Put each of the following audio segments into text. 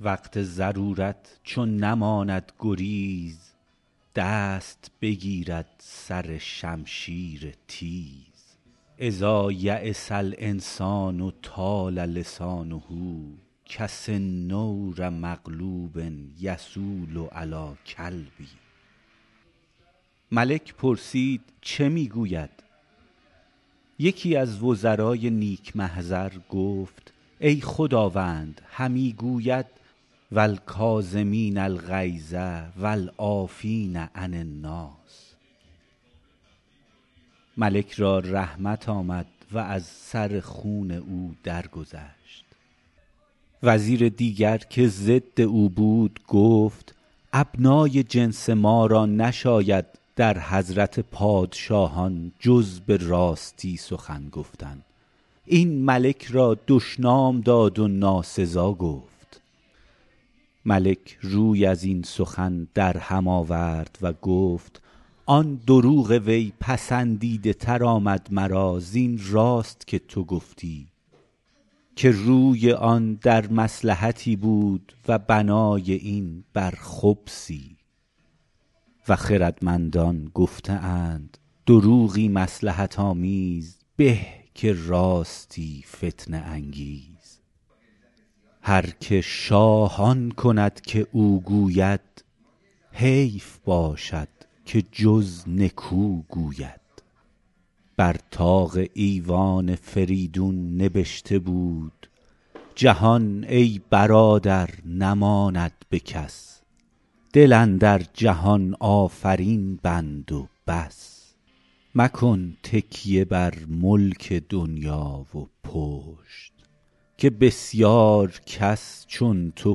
وقت ضرورت چو نماند گریز دست بگیرد سر شمشیر تیز إذا ییس الإنسان طال لسانه کسنور مغلوب یصول علی الکلب ملک پرسید چه می گوید یکی از وزرای نیک محضر گفت ای خداوند همی گوید و الکاظمین الغیظ و العافین عن الناس ملک را رحمت آمد و از سر خون او درگذشت وزیر دیگر که ضد او بود گفت ابنای جنس ما را نشاید در حضرت پادشاهان جز به راستی سخن گفتن این ملک را دشنام داد و ناسزا گفت ملک روی از این سخن در هم آورد و گفت آن دروغ وی پسندیده تر آمد مرا زین راست که تو گفتی که روی آن در مصلحتی بود و بنای این بر خبثی و خردمندان گفته اند دروغی مصلحت آمیز به که راستی فتنه انگیز هر که شاه آن کند که او گوید حیف باشد که جز نکو گوید بر طاق ایوان فریدون نبشته بود جهان ای برادر نماند به کس دل اندر جهان آفرین بند و بس مکن تکیه بر ملک دنیا و پشت که بسیار کس چون تو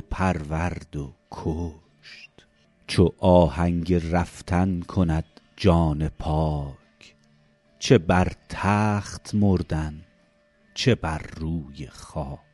پرورد و کشت چو آهنگ رفتن کند جان پاک چه بر تخت مردن چه بر روی خاک